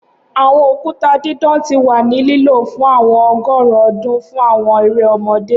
Awọn okuta didan ti wa ni lilo fun awọn ọgọrun ọdun fun awọn ere ọmọde